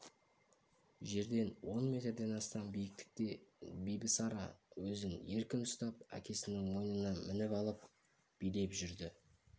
жерден он метрден астам биіктікте бибісара өзін еркін ұстап әкесінің мойнына мініп алып билеп жүрді